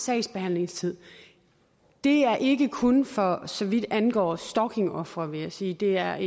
sagsbehandlingstid det er ikke kun for så vidt angår stalkingofre vil jeg sige det er